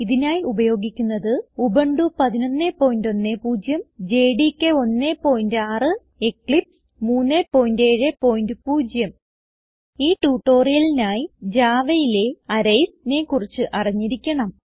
ഇതിനായി ഉപയോഗിക്കുന്നത് Ubuntu 1110 JDK 16 Eclipse 370 ഈ ട്യൂട്ടോറിയലിനായി Javaയിലെ arraysനെ കുറിച്ച് അറിഞ്ഞിരിക്കണം